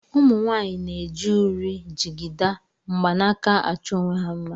Ụmụnwaanyị na-eji uri, jigida, mgbanaka achọ onwe ha mma